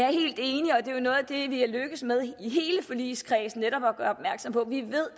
det vi er lykkedes med i hele forligskredsen er netop at gøre opmærksom på at vi ved